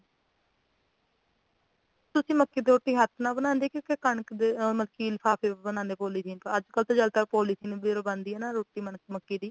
ਤੁਸੀ ਮੱਕੀ ਦੀ ਰੋਟੀ ਹੱਥ ਨਾਲ ਬਣਾਦੇ ਕੇ ਕਣਕ ਓ ਮੱਕੀ ਲਿਫ਼ਾਫ਼ੇ ਨਾਲ ਪੋਲੀਥੀਨ ਅੱਜ ਕੱਲ ਤਾਂ ਜ਼ਿਆਦਾਤਰ ਪੌਲੀਥੀਨ ਨਾਲ ਬਣਦੀ ਆ ਰੋਟੀ ਮੱਕੀ ਦੀ